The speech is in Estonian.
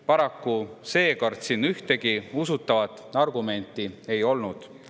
Paraku seekord siin ühtegi usutavat argumenti ei olnud.